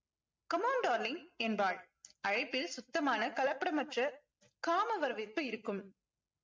come on darling என்பாள் அழைப்பில் சுத்தமான கலப்படமற்ற காம வரவேற்பு இருக்கும்